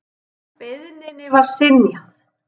Beiðninni var synjað.